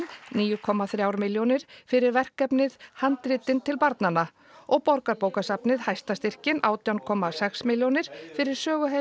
níu komma þrjár milljónir fyrir verkefni handritin til barnanna og Borgarbókasafnið hæsta styrkinn átján komma sex milljónir fyrir